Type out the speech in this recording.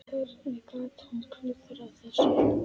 Hvernig gat hún klúðrað þessu?